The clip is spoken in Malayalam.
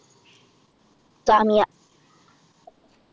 സാമിയ